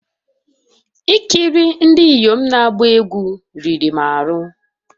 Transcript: Ikiri ndị inyom na-agba egwu riri m ahụ